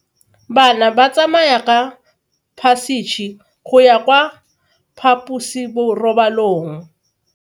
Bana ba tsamaya ka phašitshe go ya kwa phaposiborobalong.